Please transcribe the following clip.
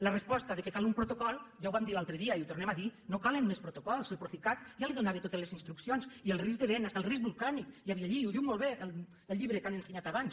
la resposta que cal un protocol ja ho vam dir l’altre dia i ho tornem a dir no calen més protocols el procicat ja li donava totes les instruccions i el risc de vent fins i tot el risc volcànic hi havia allí i ho diu molt bé el llibre que han ensenyat abans